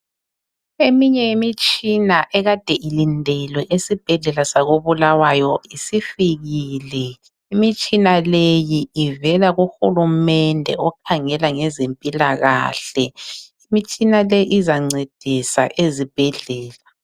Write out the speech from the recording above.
Eminye yemitshina ekade ilindilwe esibhedlela sako Bulawayo isifikile, imitshina leyi ivela ku hulumende okhangela ngezempilakahle, imitshina leyi izancedisa ezibhedlela.